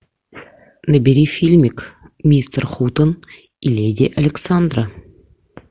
набери фильмик мистер хутен и леди александра